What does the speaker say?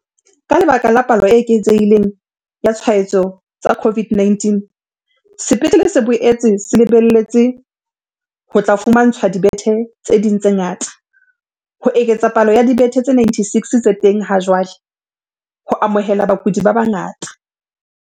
Ka lebaka la palo e eketsehi leng ya ditshwaetso tsa CO VID-19, sepetlele se boetse se le beletse ho tla fumantshwa dibethe tse ding tse ngata, ho eketsa palo ya dibethe tse 96 tse teng ha jwale ho amohela bakudi ba bangata.